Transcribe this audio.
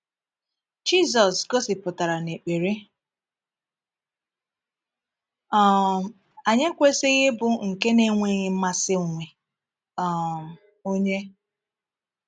Jisus gosipụtara na ekpere um anyị ekwesịghị ịbụ nke na-enweghị mmasị onwe um onye.